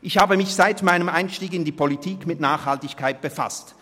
Ich habe mich seit meinem Einstieg in die Politik mit Nachhaltigkeit befasst.